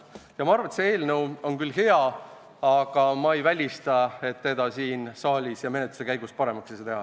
Ma arvan, et see eelnõu on küll hea, aga ma ei välista, et seda siin saalis ja menetluse käigus paremaks teha ei saa.